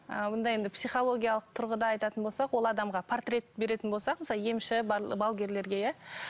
ы мұнда енді психологиялық тұрғыда айтатын болсақ ол адамға портрет беретін болсақ мысалы емші балгерлерге иә